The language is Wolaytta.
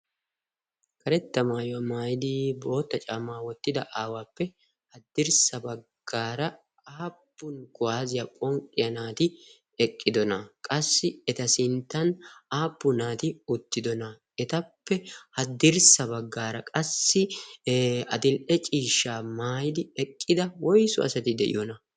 karetta maayuwaa maayidi bootta caamaa wottida aawaappe haddirssa baggaara aappun guwaaziyaa phonqxiya naati eqqidona. qassi eta sinttan aappun naati uttidona. etappe haddirssa baggaara qassi adil'e ciishshaa maayidi eqqida woisu asati de'iyoona?